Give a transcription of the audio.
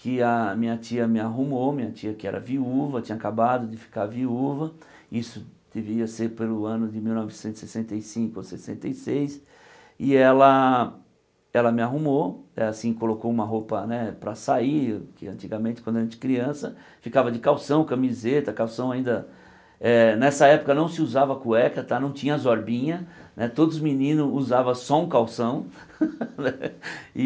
que a minha tia me arrumou, minha tia que era viúva, tinha acabado de ficar viúva, isso deveria ser pelo ano de mil novecentos e sessenta e cinco ou sessenta e seis, e ela ela me arrumou, assim, colocou uma roupa para sair, que antigamente, quando a gente criança, ficava de calção, camiseta, calção ainda é... Nessa época não se usava cueca tá, não tinha as orbinha, todos os meninos usavam só um calção, e...